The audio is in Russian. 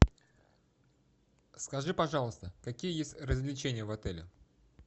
скажи пожалуйста какие есть развлечения в отеле